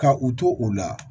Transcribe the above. Ka u to u la